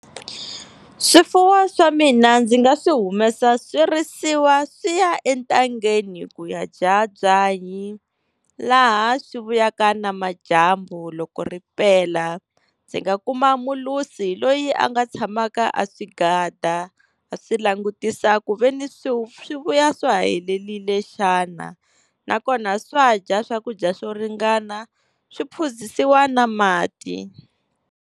Swifuwo swa mina ndzi nga swi humesa swi risiwa swi ya entangeni ku ya dya byanyi, laha swi vulaka namadyambu loko ri pela. Ndzi nga kuma mulusi loyi a nga tshamaka a swi gada a swi langutisa ku veni swi vuya swa ha helelile xana, nakona swa dya swakudya swo ringana swi phuzisiwa na mati.